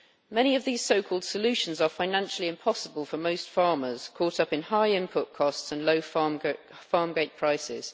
Many of these so called solutions are financially impossible for most farmers caught up in high input costs and low farm gate prices.